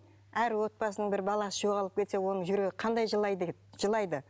әр отбасының бір баласы жоғалып кетсе оның жүрегі қандай жылай жылайды